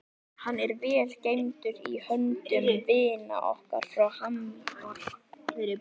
Hann er vel geymdur í höndum vina okkar frá Hamborg.